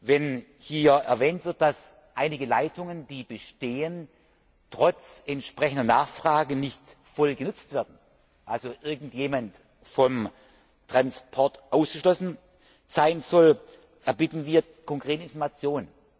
Wenn hier erwähnt wird, dass einige Leitungen, die bestehen, trotz entsprechender Nachfrage nicht voll genutzt werden, also irgendjemand vom Transport ausgeschlossen sein sollte, erbitten wir konkrete Informationen.